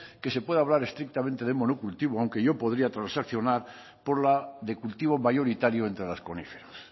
que se pueda hablar estrictamente de monocultivo aunque yo podría transaccionar por la de cultivo mayoritario entre las coníferas